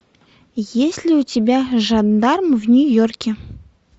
есть ли у тебя жандарм в нью йорке